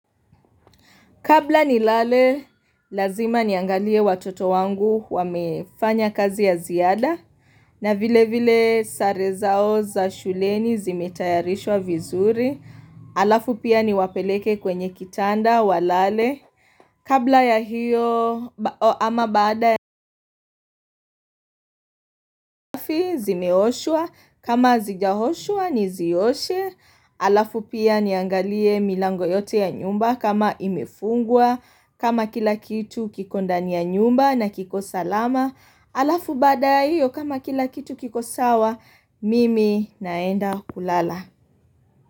Kabla ni lale, lazima niangalie watoto wangu wamefanya kazi ya ziada. Na vile vile sare zao za shuleni zimetayarishwa vizuri. Alafu pia ni wapeleke kwenye kitanda wa lale. Kabla ya hiyo ama baada ya zimeoshwa. Kama hazijaoshwa ni ziyoshe. Alafu pia niangalie milango yote ya nyumba kama imefungua. Kama kila kitu kikondania nyumba na kiko salama Alafu baada ya hiyo kama kila kitu kiko sawa, mimi naenda kulala.